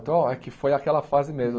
Então, é que foi aquela fase mesmo.